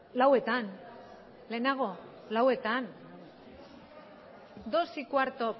lauetan lehenago lauetan dos y cuarto